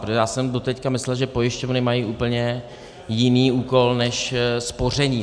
Protože já jsem doteď myslel, že pojišťovny mají úplně jiný úkol než spoření.